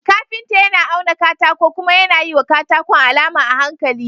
Kafinta yAna auna katako kuma yAna yiwa katakon alama a hankali.